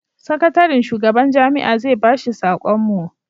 sakatarin shugaban jami'a zai ba shi sakon mu